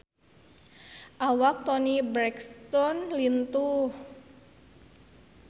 Awak Toni Brexton lintuh